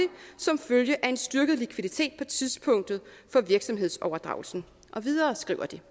som følge af en styrket likviditet på tidspunktet for virksomhedsoverdragelsen og videre skriver de